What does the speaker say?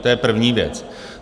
To je první věc.